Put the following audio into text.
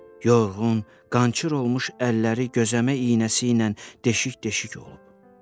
Yorğun, qançır olmuş əlləri gözəmə iynəsi ilə deşik-deşik olub.